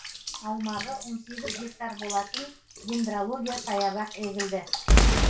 аумағы он сегіз гектар болатын дендрология саябақ егілді